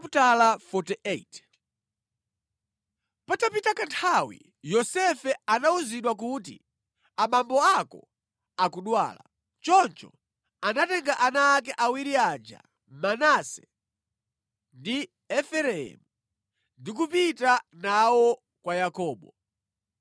Patapita kanthawi Yosefe anawuzidwa kuti, “Abambo ako akudwala.” Choncho anatenga ana ake awiri aja Manase ndi Efereimu ndi kupita nawo kwa Yakobo.